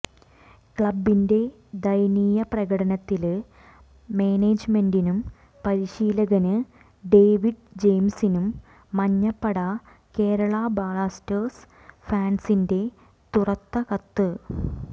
ക്ലബിന്റെ ദയനീയ പ്രകടനത്തില് മാനേജ്മെന്റിനും പരിശീലകന് ഡേവിഡ് ജെയിംസിനും മഞ്ഞപ്പട കേരള ബ്ലാസ്റ്റേഴ്സ് ഫാന്സിന്റെ തുറത്ത കത്ത്